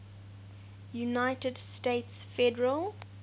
united states federal